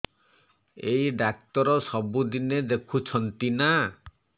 ଏଇ ଡ଼ାକ୍ତର ସବୁଦିନେ ଦେଖୁଛନ୍ତି ନା